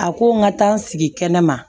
A ko n ka taa n sigi kɛnɛma